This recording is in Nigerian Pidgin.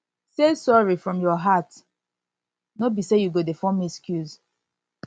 say sori from your heart no be say you go dey form excuse